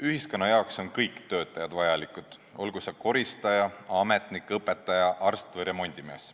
Ühiskonna jaoks on kõik töötajad vajalikud, olgu see koristaja, ametnik, õpetaja, arst või remondimees.